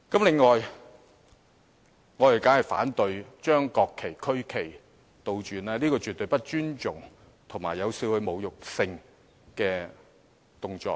此外，我們當然反對將國旗及區旗倒轉擺放，這絕對是不尊重，以及有少許侮辱性的動作。